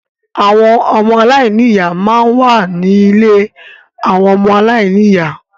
Àwọn ọmọ aláìní ìyá máa ń wà ní ilé àwọn ọmọ aláìní ìyá.